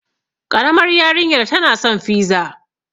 Ƙaramar yarinyar tana san fiza.